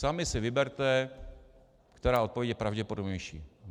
Sami si vyberte, která odpověď je pravděpodobnější.